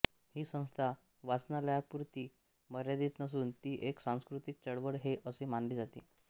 ही संस्था वाचनालयापुरती मर्यादित नसून ती एक सांस्कृतिक चळवळ हे असे मानले जाते